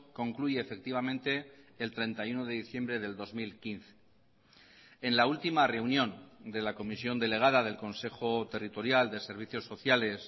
concluye efectivamente el treinta y uno de diciembre del dos mil quince en la última reunión de la comisión delegada del consejo territorial de servicios sociales